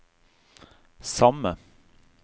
samme